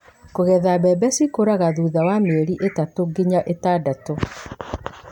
Kũgetha: Mbembe cikũraga thutha wa mĩeri ĩtatũ nginya ĩtandatũ,